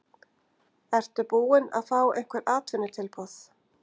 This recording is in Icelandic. Ertu búinn að fá einhver atvinnutilboð?